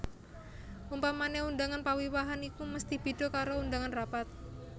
Umpamane undangan pawiwahan iku mesti beda karo undangan rapat